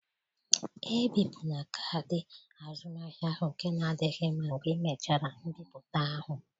Ebipụla kaadị azụmahịa ahụ nke na adịghị mma mgbe ịmechara mbipụta ahụ.